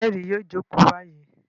Ẹlẹ́rìí yóò jókòó báyìí!